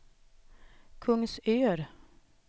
Kungsör